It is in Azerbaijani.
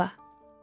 Seva.